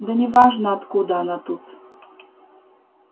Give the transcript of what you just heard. да неважно откуда она тут